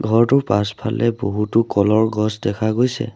ঘৰটোৰ পাছফালে বহুতো কলৰ গছ দেখা গৈছে।